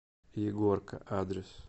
егорка адрес